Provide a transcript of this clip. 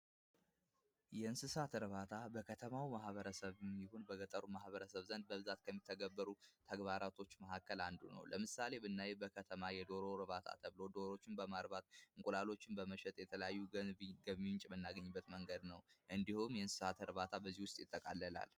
የእንስሳት እርባታ ከተማ ማህበረሰብ ይሆን በገጠር ማበረሰብ ዘንድ በብዛት ከሚተገበሩ ተግባራቶች መካከል አንዱ ነው። ለምሳሌ በከተማ ብናይ የዶሮ እርባታ ተብሎ ዶሮን በማርባት እንቁላሎችን በመሸጥ የተለያዩ ገቢዎችን የምናገኝበት መንገድ ነው። እንዲሁም የእንስሳት እርባታ በዚሁ ውስጥ ይጠቃልላል።